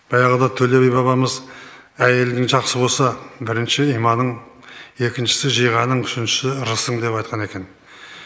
баяғыда төле би бабамыз әйелің жақсы болса бірінші иманың екіншісі жиғаның үшіншісі ырысың деп айтқан екен